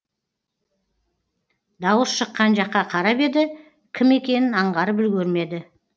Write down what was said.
дауыс шыққан жаққа қарап еді кім екенін аңғарып үлгермеді